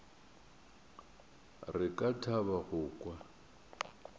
re ka thaba go kwa